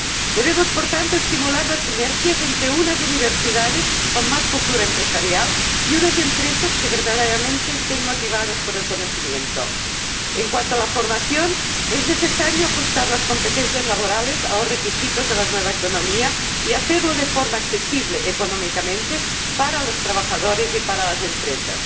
Debemos, por tanto, estimular las sinergias entre unas universidades con más cultura empresarial y unas empresas que verdaderamente estén motivadas por el conocimiento En cuanto a la formación, es necesario ajustar las competencias laborales a los requisitos de la nueva economía y hacerlo de forma económicamente accesible para los trabajadores y para las empresas.